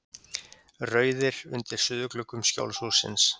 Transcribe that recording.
Rauðir undir suðurgluggum Skjólshússins.